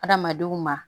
Adamadenw ma